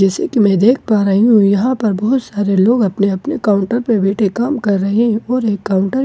जैसे कि मैं देख पा रही हूं। यहां पर बहोत सारे लोग अपने अपने काउंटर पे बैठे काम कर रहे है और एक काउंटर --